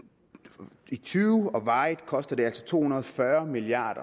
tyve og varigt koster det altså to hundrede og fyrre milliard